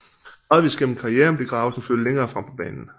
Gradvist gennem karrieren blev Gravesen flyttet længere frem på banen